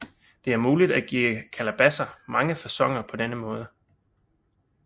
Det er muligt at give kalabasser mange faconer på denne måde